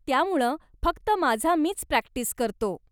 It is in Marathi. त्यामुळं फक्त माझा मीच प्रॅक्टिस करतो.